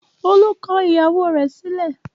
Olú kọ ìyàwó rẹ̀ sílẹ̀?